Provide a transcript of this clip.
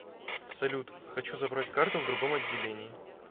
салют хочу забрать карту в другом отделении